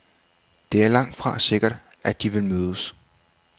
Det er langtfra sikkert, at de vil mødes.